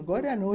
Agora não.